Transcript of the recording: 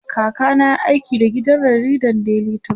kaka na yayi aiki da gidan jaridan daily trust